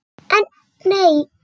En, nei.